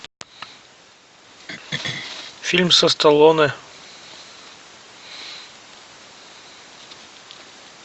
фильм со сталлоне